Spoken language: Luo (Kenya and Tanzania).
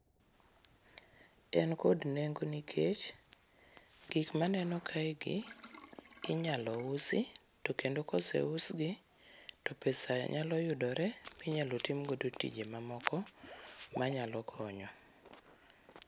En kod nengo nikech gik ma aneno kaegi, inyalo usi to kendo ka oseusgi to pesa nyalo yudore minyalo timgo tije mamoko manyalo konyo.